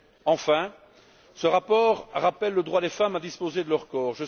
Enfin, ce rapport rappelle le droit des femmes à disposer de leur corps.